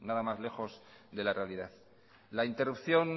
nada más lejos de la realidad la interrupción